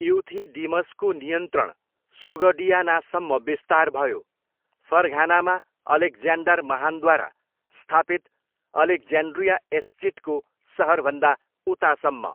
इ्युथिडिमसको नियन्त्रण सोगडियानासम्म विस्तार भयो, फरघानामा अलेक्ज्याण्डर महान्द्वारा स्थापित अलेक्ज्यान्ड्रिया एस्चिटको सहरभन्दा उतासम्म।